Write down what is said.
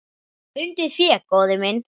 Fundið fé, góði minn.